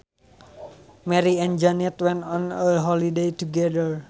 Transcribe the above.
Mary and Jane went on a holiday together